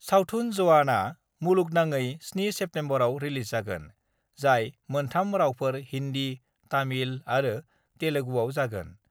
सावथुन 'जवान' आ मुलुगनाङै 7 सेप्तेम्बरआव रिलिज जागोन, जाय मोन 3 रावफोर हिन्दी, तामिल आरो तेलेगुआव जागोन।